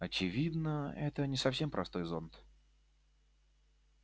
очевидно это не совсем простой зонт